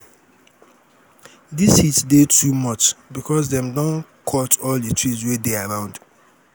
dis heat dey too much because dem don cut all di trees wey dey around.